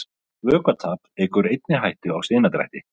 Vökvatap eykur einnig hættu á sinadrætti.